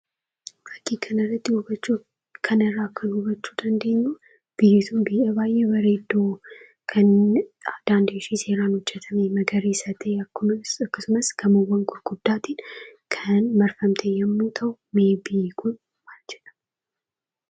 Fakkii kanarraa hubachuu kan dandeenyu, biyyi sun biyya baay'ee bareedduu kan daandiin ishee seeraan hojjatame, magariisa ta'ee akkasumas gamoowwan gurguddaatiin kan marfamte yeroo ta'uu, mee biyyi kun maal jedhama?